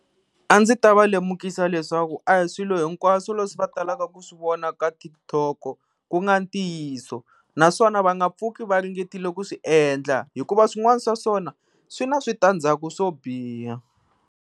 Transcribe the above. A ndzi ta va lemukisa leswaku a hi swilo hinkwaswo leswi va talaka ku swi vona ka Tik Tok ku nga ntiyiso, naswona va nga pfuki va ringetile ku swi endla hikuva swin'wana swa swona swi na switandzaku swo biha.